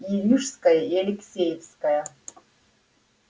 и рижская и алексеевская